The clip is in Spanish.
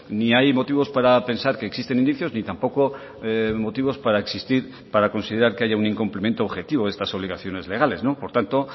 ni hay motivos para pensar que existen indicios ni tampoco motivos para existir para considerar que haya un incumplimiento objetivo de estas obligaciones legales por tanto